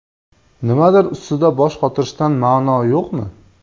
Nimadir ustida bosh qotirishdan ma’no yo‘qmi?